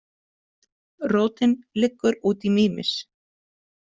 Rótin liggur út í Mímis.